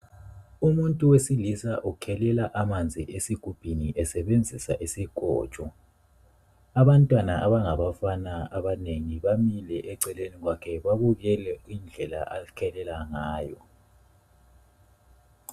Umuntu wesilisa ukhelela amanzi esigubhini esebenzisa isikotsho. Abantwana abangabafana abanengi bamile eceleni kwakhe babukele indlela azikhelela ngayo.